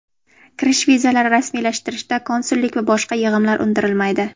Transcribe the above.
kirish vizalari rasmiylashtirishda konsullik va boshqa yig‘imlar undirilmaydi;.